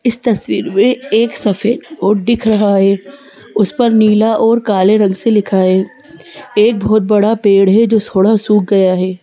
इस तस्वीर में एक सफेद रोट दिख रहा है उस पर नीला और काले रंग से लिखा है एक बहुत बड़ा पेड़ है जो थोड़ा सूख गया है।